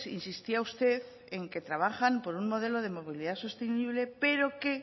insistía usted en que trabajan por un modelo de movilidad sostenible pero que